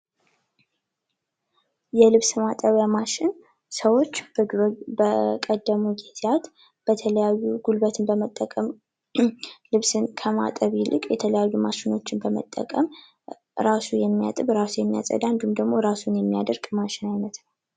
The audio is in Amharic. የልብስ ማጠብ በሚያሽን ሰዎች በቀደመው ጊዜያት በተለያዩ ጉልበትን በመጠቀም ልብስን ከማጠብ ይልቅ የተለያዩ ማሸኖችን በመጠቀም እራሱ የሚያጠብ እራሱ የሚያጸዳ እንዲሁም ደግሞ ራሱን የሚየደርቅ ማሽን አይነት ነው።